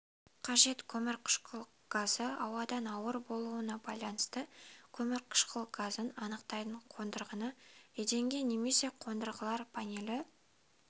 қажет көмірқышқыл газы ауадан ауыр болуына байланысты көмірқышқыл газын анықтайтын қондырғыны еденге немесе қондырғылар панелі